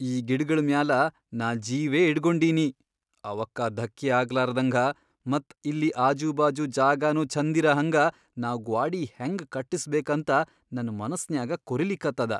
ಈ ಗಿಡಗಳ್ ಮ್ಯಾಲ ನಾ ಜೀವೇ ಇಟ್ಗೊಂಡಿನಿ, ಅವಕ್ಕ ಧಕ್ಕಿ ಆಗ್ಲಾರ್ದ್ಹಂಗ ಮತ್ ಇಲ್ಲಿ ಆಜೂಬಾಜು ಜಾಗಾನೂ ಛಂದಿರಹಂಗ ನಾವ್ ಗ್ವಾಡಿ ಹೆಂಗ್ ಕಟ್ಟಸ್ಬೇಕಂತ ನನ್ ಮನಸ್ನ್ಯಾಗ ಕೊರಿಲಿಕತ್ತದ.